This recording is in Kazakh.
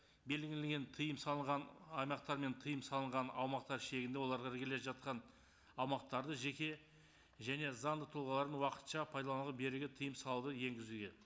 белгіленген тыйым салынған аймақтар мен тыйым салынған аумақтар шегінде оларға іргелес жатқан аумақтарды жеке және заңды тұлғалардың уақытша пайдалануға беруге тыйым салуды енгізуге